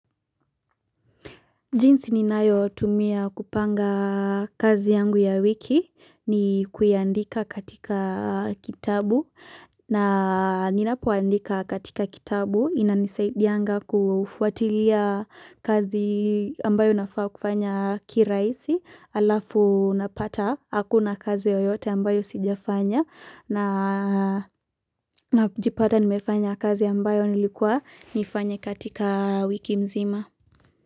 Jinsi ninayotumia kupanga kazi yangu ya wiki ni kuyaandika katika kitabu na ninapoandika katika kitabu inanisaidianga kufuatilia kazi ambayo nafaa kufanya kirahisi alafu napata hakuna kazi yoyote ambayo sijafanya najipata nimefanya kazi ambayo nilikuwa nifanya katika wiki mzima.